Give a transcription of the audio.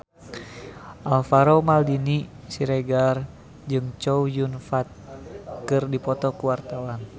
Alvaro Maldini Siregar jeung Chow Yun Fat keur dipoto ku wartawan